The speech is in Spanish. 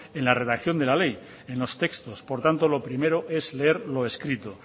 en la redacción de la ley en los textos por tanto lo primero es leer lo escrito